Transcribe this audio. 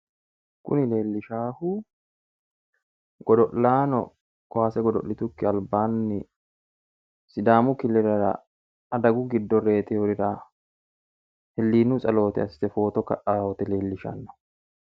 Muni lerllishshaahu godo'laano kaase godo'litukki albaanni sidaamu killilera adaguyi giddo reteyorira hillinu tsaloote assite footo ka'aawote leellishshanno.